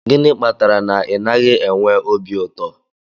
Gịnị kpatara na ị naghị enwe obi ụtọ?